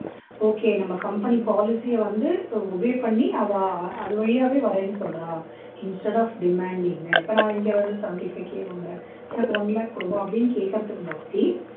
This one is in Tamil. okay நம்ம company policy யை வந்து obey பண்ணி அவா அது வழியாவே வர்றேன்னு சொல்றா instead of demanding இப்ப நான் இங்க வந்து seventy five k வாங்கறேன் எனக்கு one lakh கொடுங்கோ அப்படின்னு கேட்கிறதுக்கு